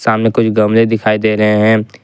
सामने कुछ गमले दिखाई दे रहे हैं।